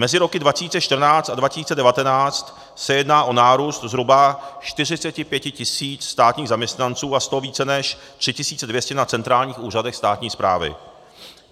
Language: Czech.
Mezi roky 2014 a 2019 se jedná o nárůst zhruba 45 tis. státních zaměstnanců a z toho více než 3 200 na centrálních úřadech státní správy.